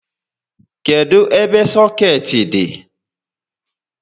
Kedụ ebe sọkeetị dị?